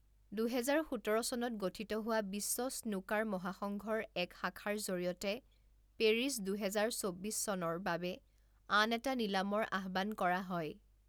দুহেজাৰ সোতৰ চনত গঠিত হোৱা বিশ্ব স্নুকাৰ মহাসংঘৰ এক শাখাৰ জৰিয়তে পেৰিছ দুহেজাৰ চৌব্বিছ চনৰ বাবে আন এটা নিলামৰ আহ্বান কৰা হয়।